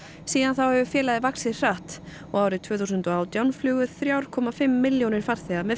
síðan þá hefur félagið vaxið hratt og árið tvö þúsund og átján flugu þrjú komma fimm milljónir farþega með